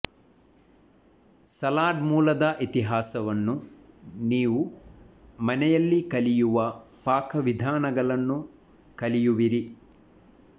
salad ಮೂಲದ ಇತಿಹಾಸವನ್ನು ನೀವು ಮನೆಯಲ್ಲಿ ಕಲಿಯುವ ಪಾಕವಿಧಾನಗಳನ್ನು ಕಲಿಯುವಿರಿ